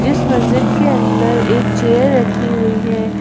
इस मस्जिद के अंदर एक चेयर रखी हुई है।